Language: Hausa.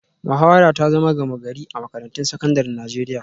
Muhawara ta zama gama-gari a makarantun sakandaren Najeriya